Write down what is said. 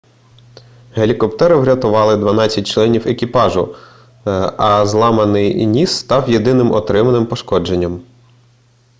гелікоптери врятували дванадцять членів екіпажу а зламаний ніс став єдиним отриманим пошкодженням